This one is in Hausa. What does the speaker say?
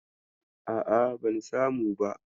A'a, ban samu ba.